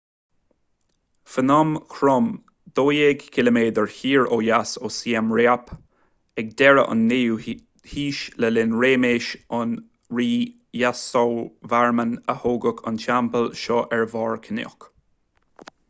phnom krom 12 km siar ó dheas ó siem reap ag deireadh an 9ú haois le linn réimeas an rí yasovarman a tógadh an teampall seo ar bharr cnoic